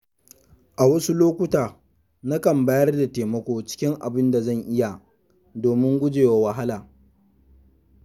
A wasu lokuta, na kan bayarda taimako cikin abinda zan iya domin gujewa wahala.